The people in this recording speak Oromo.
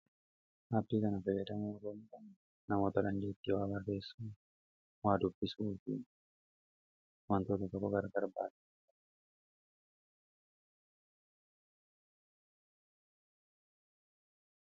aabikana bayeraa narana namoota lanjeettii waabarreessa aadubbisubufi waantooto tako gara garbaala